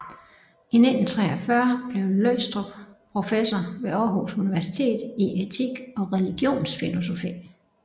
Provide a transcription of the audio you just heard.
I 1943 blev Løgstrup professor ved Aarhus Universitet i etik og religionsfilosofi